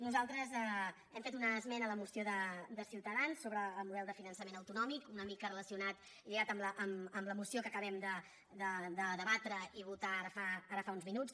nosaltres hem fet una esmena a la moció de ciutadans sobre el model de finançament autonòmic una mica relacionat lligat amb la moció que acabem de debatre i votar ara fa uns minuts